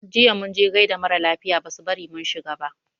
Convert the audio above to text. Jiya mun je gaida mara lafiya basu bari mun shiga ba.